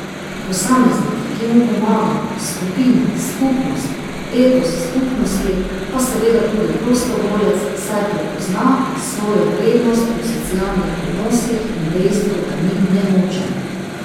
Posameznik, ki mu pomagamo, skupina, skupnost, etos skupnosti, pa seveda tudi prostovoljec, saj prepozna svojo vrednost v socialnih odnosih in dejstvo, da ni nemočen.